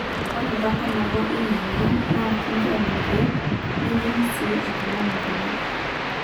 ore baata nabo ina mweyian naa kinjori irkeek neyieng'i sii oltung'ani nkonyek